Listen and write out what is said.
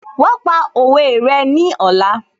Wàá pa òwe rẹ ní ọ̀la